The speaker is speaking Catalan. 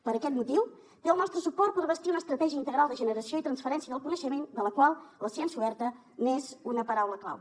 per aquest motiu té el nostre suport per bastir una estratègia integral de generació i transferència del coneixement de la qual la ciència oberta n’és una paraula clau